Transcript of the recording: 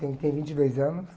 Tem um que tem vinte e dois anos.